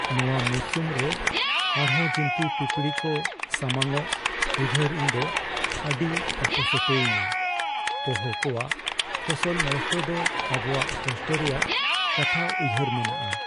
ᱱᱚᱶᱟ ᱢᱚᱨᱥᱩᱢ ᱨᱮ ᱟᱨᱦᱚᱸ ᱡᱤᱱᱛᱤ ᱯᱤᱯᱲᱤ ᱠᱚ ᱥᱟᱢᱟᱝᱼᱚᱜ ᱩᱭᱦᱟᱹᱨ ᱤᱧ ᱫᱚ ᱟᱹᱰᱤ ᱚᱯᱚᱥᱚᱴᱚᱭᱤᱧᱟᱹ ᱾ ᱯᱳᱦᱳ ᱠᱚᱣᱟᱜ ᱯᱷᱚᱥᱚᱞ ᱱᱚᱥᱴᱚ ᱫᱚ ᱟᱵᱚᱣᱟᱜ ᱠᱚᱥᱴᱚ ᱨᱮᱭᱟᱜ ᱠᱟᱛᱷᱟ ᱩᱭᱦᱟᱹᱨ ᱢᱮᱱᱟᱜᱼᱟ ?